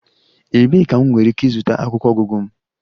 Ebee ka m nwere ike ịzụta akwụkwọ ọgụgụ m?